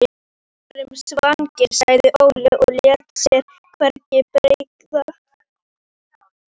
Við vorum svangir, sagði Óli og lét sér hvergi bregða.